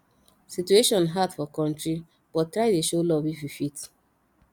situation hard for kontry but try dey show luv if yu fit